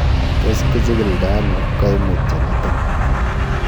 Tos kichikildo ono koimutioniton?